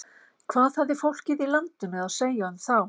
Hvað hafði fólkið landinu að segja um þá?